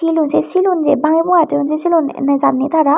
milo seh silon je banga banga toyon seh silon nejani tara.